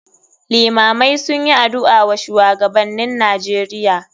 Iimamai sunyi adu'a wa shuwagabannin nijeria.